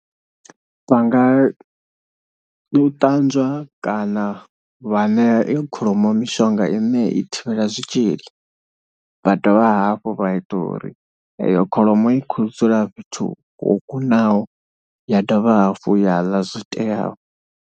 Vha nga u ṱanzwa kana vha ṋea iyo kholomo mishonga i ne i thivhela zwitshili. Vha dovha hafhu vha ita uri eyo kholomo i khou dzula fhethu ho kunaho ya dovha hafhu ya ḽa zwo teaho.